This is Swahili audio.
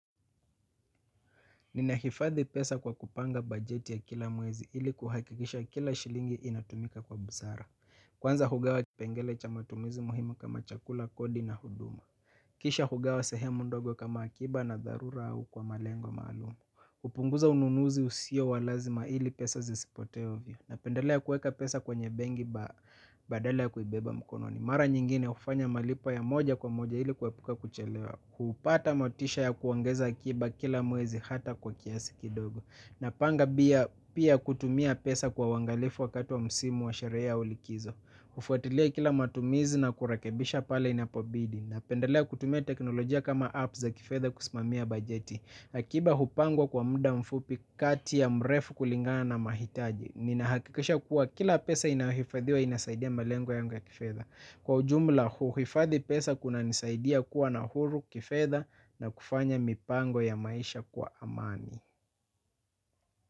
Ninahifadhi pesa kwa kupanga bajeti ya kila mwezi ili kuhakikisha kila shilingi inatumika kwa busara. Kwanza hugawa kipengele cha matumizi muhimu kama chakula kodi na huduma. Kisha hugawa sehemu ndogo kama akiba na dharura au kwa malengo maalum hupunguza ununuzi usio wa lazima ili pesa zisipote ovyo. Napendelea kueka pesa kwenye benki badala ya kuibeba mkononi. Mara nyingine hufanya malipo ya moja kwa moja ili kuepuka kuchelewa. Hupata motisha ya kuongeza akiba kila mwezi hata kwa kiasi kidogo. Napanga pia kutumia pesa kwa uangalifu wakati wa msimu wa sherehe au likizo. Hufuatilia kila matumizi na kurekebisha pale inapobidi. Napendelea kutumia teknolojia kama apps za kifedha kusimamia bajeti. Akiba hupangwa kwa muda mfupi kati ya mrefu kulingana na mahitaji. Ninahakikisha kuwa kila pesa inayohifadhiwa inasaidia malengo yangu ya kifedha. Kwa ujumla huu, hifadhi pesa kunanisaidia kuwa na huru kifedha na kufanya mipango ya maisha kwa amani.